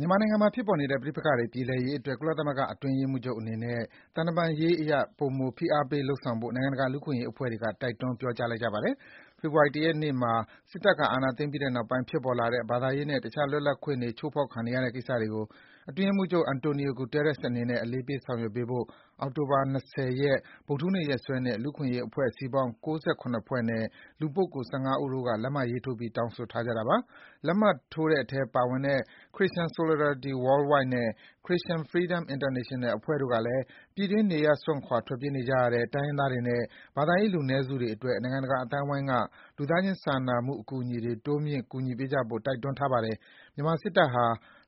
မြန်မာနိုင်ငံမှာ ဖြစ်ပေါ်နေတဲ့ ပဋိပက္ခတွေ ပြေလည်ရေးအတွက် ကုလသမဂ္ဂအတွင်းရေးမှူးချုပ်အနေနဲ့ သံတမန်ရေးအရ ပိုမို ဖိအားပေး လုပ်ဆောင်ဖို့ နိုင်ငံတကာကလူ့အခွင့်အရေးအဖွဲ့တွေ တိုက်တွန်း ပြောကြားလိုက်ကြပါတယ်။ ဖေဖော်ဝါရီလ ၁ ရက်နေ့မှာ စစ်တပ်က အာဏာသိမ်းပြီးတဲ့နောက်ပိုင်း ဖြစ်ပေါ်လာတဲ့ ဘာသာရေးနဲ့ တခြားလွတ်လပ်ခွင့်တွေ ချိုးဖောက်ခံနေရတဲ့ကိစ္စတွေကို အတွင်းရေးမှူးချုပ် Antonio Guterres အနေနဲ့ အလေးပေး ဆောင်ရွက်ပေးဖို့ အောက်တိုဘာ ၂၀ ရက်၊ ဗုဒ္ဓဟူးနေ့ရက်စွဲနဲ့ လူ့အခွင့်အရေး အဖွဲ့အစည်းပေါင်း ၉၇ ဖွဲ့နဲ့ လူပုဂ္ဂိုလ် ၁၅ ဦးတို့က လက်မှတ်ထိုးပြီး တောင်းဆိုထားကြတာပါ။ လက်မှတ်ထိုးတဲ့အထဲပါဝင်တဲ့ Christian Solidarity Worldwide နဲ့ Christian Freedom International အဖွဲ့ တို့ကလည်း ပြည်တွင်း နေရပ်စွန့်ခွာ ထွက်ပြေးနေကြရတဲ့ တိုင်းရင်းသားတွေနဲ့ ဘာသာရေးလူနည်းစုတွေအတွက် နိုင်ငံတကာအသိုင်းအဝိုင်းက လူသားချင်းစာနာမှုအကူအညီတွေ တိုးမြင့် ကူညီပေးကြဖို့ တိုက်တွန်းထားပါတယ်။ မြန်မာစစ်တပ်ဟာ